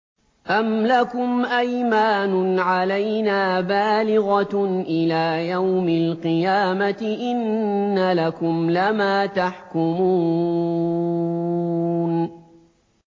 أَمْ لَكُمْ أَيْمَانٌ عَلَيْنَا بَالِغَةٌ إِلَىٰ يَوْمِ الْقِيَامَةِ ۙ إِنَّ لَكُمْ لَمَا تَحْكُمُونَ